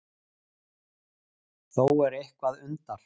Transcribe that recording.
Þó er eitthvað undar